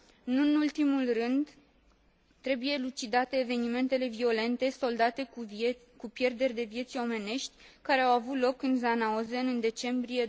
Nu în ultimul rând, trebuie elucidate evenimentele violente soldate cu pierderi de vieți omenești, care au avut loc în Janaozen în decembrie